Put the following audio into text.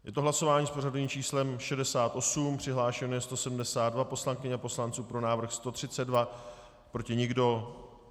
Je to hlasování s pořadovým číslem 68, přihlášeno je 172 poslankyň a poslanců, pro návrh 132, proti nikdo.